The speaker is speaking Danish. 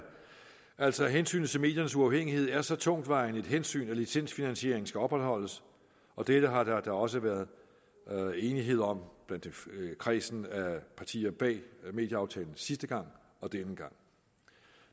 altså at hensynet til mediernes uafhængighed er så tungtvejende et hensyn at licensfinansieringen skal opretholdes og dette har der da også været enighed om blandt kredsen af partier bag medieaftalen sidste gang og denne gang